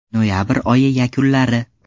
Noyabr oyi yakunlari.